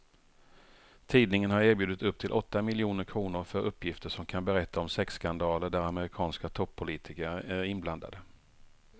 Tidningen har erbjudit upp till åtta miljoner kr för uppgifter som kan berätta om sexskandaler där amerikanska toppolitiker är inblandade.